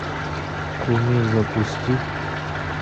кумир запусти